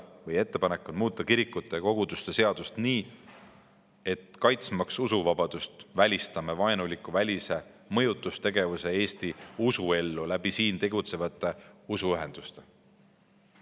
Meie ettepanek on muuta kirikute ja koguduste seadust nii, et kaitstes usuvabadust välistame vaenuliku välise mõjutustegevuse, Eesti usuellu siin tegutsevate usuühenduste kaudu.